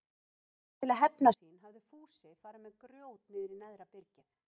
Til að hefna sín hafði Fúsi farið með grjót niður í neðra byrgið.